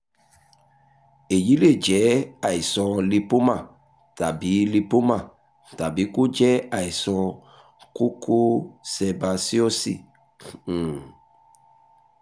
èyí lè jẹ́ àìsàn lípómà tàbí lípómà tàbí kó jẹ́ àìsàn kókó sẹ̀básíọ́ọ̀sì um